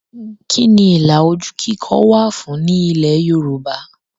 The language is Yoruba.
Kí ni ilà ojú kíkọ wà fún ní ilẹ̀ Yorùbá?